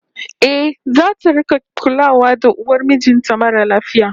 Eh, zata rik'a kulawa da uwar mijin ta mara lafiya